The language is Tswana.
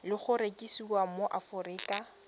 le go rekisiwa mo aforika